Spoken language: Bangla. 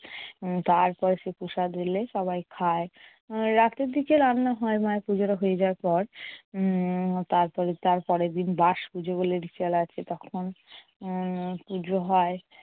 তারপর সে প্রসাদ এলে সবায় খায়। রাতের দিকে রান্না হয় মায়ের পুজোটা হয়ে যাওয়ার পর। উম তারপরে~ তার পরেরদিন বাসপুজো বলে ritual তখন উম পুজো হয়।